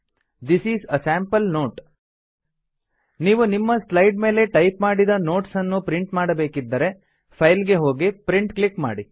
this is a sample note ನೀವು ನಿಮ್ಮ slide ಮೇಲೆ ಟೈಪ್ ಮಾಡಿದ ನೋಟ್ಸ್ ನ್ನು ಪ್ರಿಂಟ್ ಮಾಡಬೇಕಿದ್ದರೆ ಫೈಲ್ ಗೆ ಹೋಗಿ ಪ್ರಿಂಟ್ ಕ್ಲಿಕ್ ಮಾಡಿ